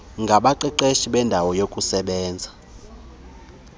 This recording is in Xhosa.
ngabaqeqeshi beendawo yokusebenzela